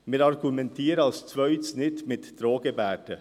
Wir argumentieren als Zweites nicht mit Drohgebärden.